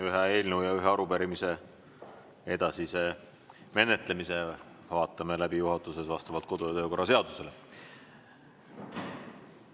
Ühe eelnõu ja ühe arupärimise edasise menetlemise vaatame juhatuses läbi vastavalt kodu- ja töökorra seadusele.